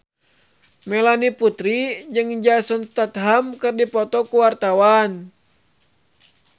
Melanie Putri jeung Jason Statham keur dipoto ku wartawan